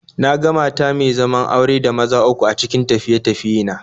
Na ga mata me zaman aure da maza uku a cikin tafiye-tafiye na